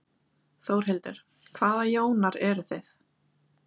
Þórhildur: Hvaða Jónar eruð þið?